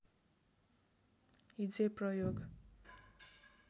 हिज्जे प्रयोग